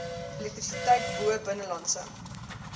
elektrisiteit bo binnelandse